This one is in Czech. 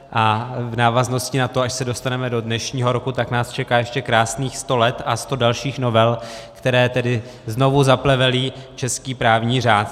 A v návaznosti na to, až se dostaneme do dnešního roku, tak nás čeká ještě krásných sto let a sto dalších novel, které tedy znovu zaplevelí český právní řád.